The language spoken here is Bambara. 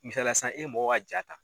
Misaliya sisan e ye mɔgɔ ka jaa ta.